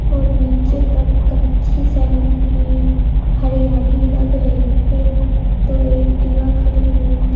और नीचे पर कच्ची जमीन है हरियाली लग रही है तो एक टीवा खड़ी हुई--